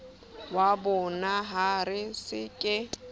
wa bonaha re se re